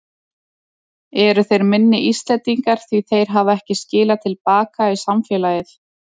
Eru þeir minni Íslendingar því þeir hafa ekki skilað til baka í samfélagið?